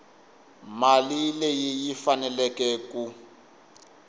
mali leyi yi faneleke ku